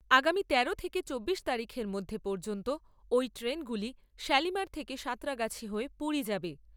আগামী তেরো থেকে চব্বিশ তারিখের মধ্যে পর্যন্ত ওই ট্রেনগুলি শালিমার থেকে সাঁতরাগাছি হয়ে পুরী যাবে।